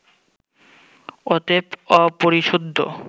অতএব অপরিশুদ্ধ